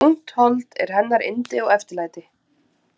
Ungt hold er hennar yndi og eftirlæti.